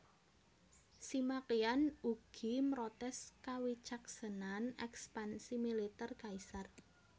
Sima Qian ugi mrotès kawicaksanan ekspansi militèr kaisar